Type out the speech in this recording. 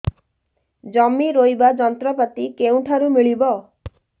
ଜମି ରୋଇବା ଯନ୍ତ୍ରପାତି କେଉଁଠାରୁ ମିଳିବ